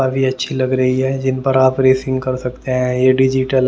अभी अच्छी लग रही है जिन पर आप रेसिंग कर सकते हैं ये डिजिटल --